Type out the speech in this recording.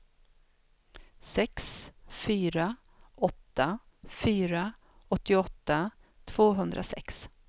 sex fyra åtta fyra åttioåtta tvåhundrasex